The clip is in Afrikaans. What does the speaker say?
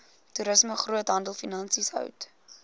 toerisme groothandelfinansies hout